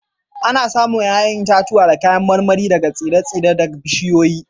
Ana samun 'ya'yan itatuwa da kayan marmari daga tsire-tsire da bishiyoyi